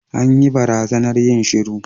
An yi barazanar yin shiru.